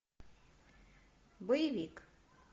боевик